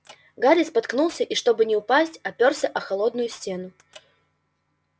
гарри споткнулся и чтобы не упасть опёрся о холодную стену